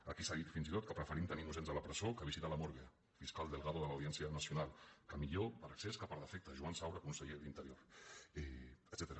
aquí s’ha dit fins i tot que preferim tenir innocents a la presó que visitar la morgue el fiscal delgado de l’audiència nacional que millor per excés que per defecte joan saura conseller d’interior etcètera